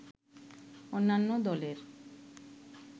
অন্যান্য দলের